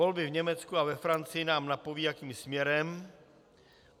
Volby v Německu a ve Francii nám napovědí, jakým směrem.